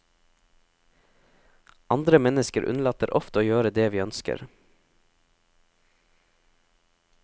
Andre mennesker unnlater ofte å gjøre det vi ønsker.